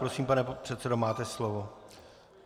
Prosím, pane předsedo, máte slovo.